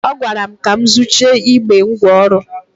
Ọ gwara m ka m zụchie igbe ngwa ọrụ.